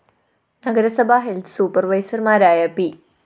നഗരസഭാ ഹെൽത്ത്‌ സൂപ്പര്‍വൈസര്‍മാരായ പി